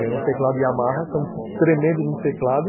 Ganhou um teclado Yamaha, que é um tremendo de um teclado.